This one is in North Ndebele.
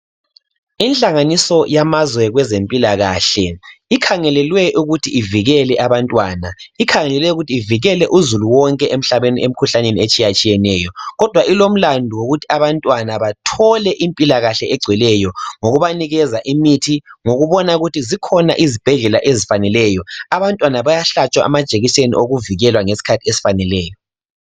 Inhlanganiso yamazwe kwezempilakahle ikhangelelwe ukuthi ivikele abantwana. Ikhangelelwe ukuthi ivikele uzulu wonke emikhuhlaneni etshiyeneyo kodwa ilomlandu wokuthi abantwana bathole impilakahle egcweleyo ngokubanikeza imithi ngokubona ukuthi zikhona izibhedlela ezifaneleyo abantwana bayahlatshwa amajekiseni ngesikhathi esifaneleyo.